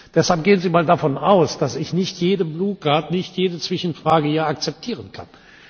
Deshalb gehen Sie mal davon aus, dass ich nicht jede blaue Karte, nicht jede Zwischenfrage hier akzeptieren kann.